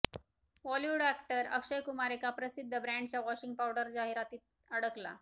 Bollywood actor Akshay Kumar एका प्रसिद्ध ब्रँडच्या वॉशिंग पावडर जाहीरातीत अडकला